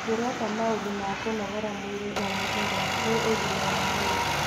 Ndĩreka maũndũ ma kũnogora mwĩrĩ o mũthenya nĩ ũgima wa mwĩrĩ.